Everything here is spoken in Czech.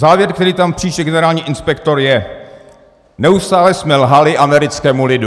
Závěr, který tam píše generální inspektor, je: Neustále jsme lhali americkému lidu.